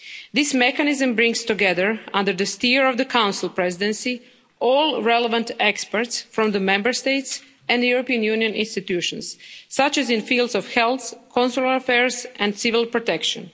This mechanism brings together, under the steer of the Council Presidency, all relevant experts from the Member States and the European Union institutions, such as in fields of health, consular affairs and civil protection.